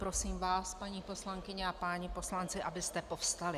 Prosím vás, paní poslankyně a páni poslanci, abyste povstali.